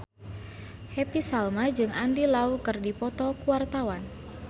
Happy Salma jeung Andy Lau keur dipoto ku wartawan